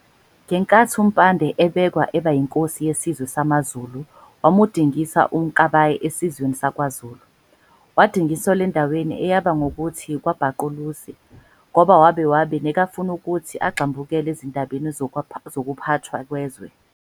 Ngenkathi uMpande ebekwa eba yinkosi yesizwe samaZulu wamudingisa uMkabayi esizweni sakwaZulu, wadingiselwa endaweni eyabe ngokuthi kwaBaqulusi ngoba wabe wabe negafuni ukuthi agxambukele ezindabeni zokuphatwa kwezwe.